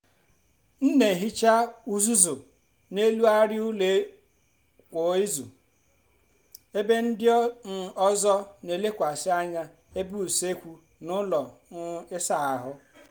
m n'ehicha uzuzu n’elu arịa ụlọ kwa izu ebe ndị um ọzọ n'elekwasị anya ebe usekwu na ụlọ um ịsa ahụ